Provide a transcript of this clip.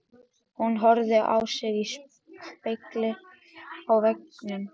Hún horfði á sig í spegli á veggnum.